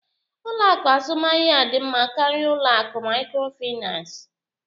Ụlọ akụ azụmaahịa dị mma karịa ụlọ akụ microfinance?